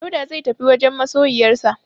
Dauda zai tafi wajen masoyiyarsa.